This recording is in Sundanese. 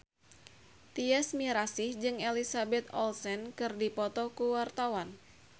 Tyas Mirasih jeung Elizabeth Olsen keur dipoto ku wartawan